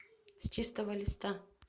с чистого листа